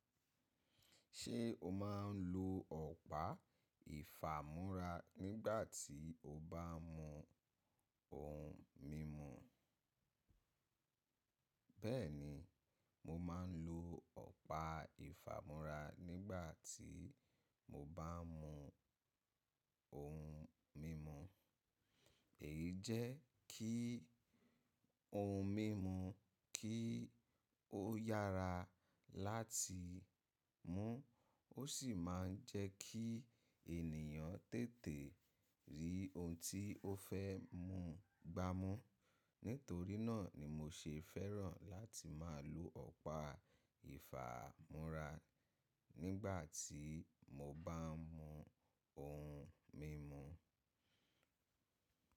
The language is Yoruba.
Ṣé o máa ń lo ọ̀pá ìfàmúrà nígbà tí o bá ń mu ohun mímu? Bẹ́ẹ̀ni, mo máa ń lo ọ̀pá ìfàmúrà nígbà tí mo bá ń mu ohun mímu. Èyí jẹ́ kí ohun mímu kí ó yára láti mú, ó sì máa ń jẹ́ kí ènìyàn tètè rí ohun tí ó fẹ́ mu gbá mú. Nítorí náà ni mo ṣe fẹ́ràn láti máa lo ọ̀pá ìfàmúrà nígbà tí mo bá ń mu ohun mímu.